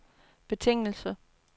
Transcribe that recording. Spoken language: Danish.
betingelse